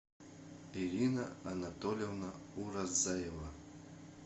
ирина анатольевна уразаева